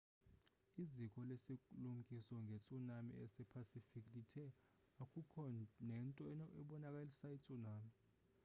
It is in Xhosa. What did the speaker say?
iziko lesilumkiso ngetsunami esepacific lithe akukho nento ebonakalisa itsunami